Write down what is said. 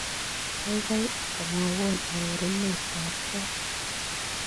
Kaigai mwawon arorunetap got